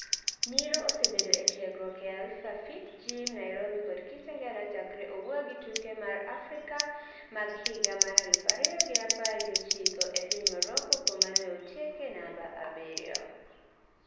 Nyiro osebedo otiegruok ee Alpha Fit Gym Nairobi kod Kitengela chakre owuogi tuke Afrika mag higa mar aluf ariyo gi apar gi ochiko e piny Morocco kuma neotieke namba abiriyo